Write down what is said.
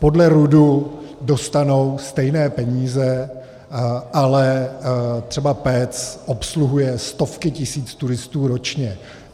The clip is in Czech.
Podle RUD dostanou stejné peníze, ale třeba Pec obsluhuje stovky tisíc turistů ročně.